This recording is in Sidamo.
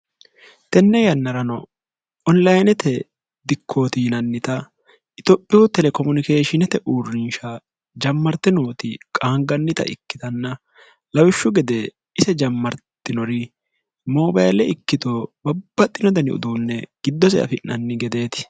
tenne yannarano onlayinete dikkootiinannita itophiyu telekomunikeeshinete uurrinsha jammarte nooti qaangannita ikkitanna lawishshu gede ise jammartinori moobale ikkito babbaxxino dani uduunne giddose afi'nanni gedeeti